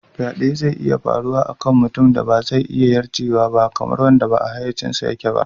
Faɗe zai iya faruwa a kan mutumin da ba zai iya yarjewa ba, kamar wanda ba a hayyacinsa yake ba.